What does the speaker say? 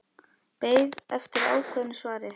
Beið eftir ákveðnu svari.